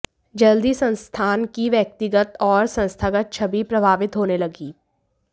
जल्दी ही संस्थान की व्यक्तिगत और संस्थागत छवि प्रभावित होने लगी